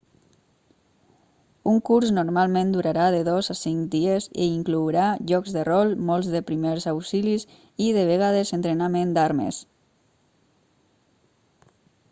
un curs normalment durarà de 2 a 5 dies i inclourà jocs de rol molts de primers auxilis i de vegades entrenament d'armes